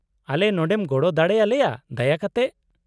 -ᱟᱞᱮ ᱱᱚᱸᱰᱮᱢ ᱜᱚᱲᱚ ᱫᱟᱲᱮ ᱟᱞᱮᱭᱟ ᱫᱟᱭᱟ ᱠᱟᱛᱮ ?